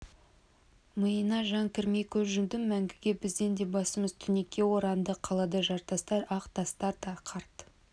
миыңа жан кірмей көз жұмдың мәңгіге біздің де басымыз түнекке оранды қалада жартастар ақ тастар қарт